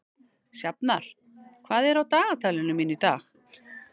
Sjafnar, hvað er á dagatalinu mínu í dag?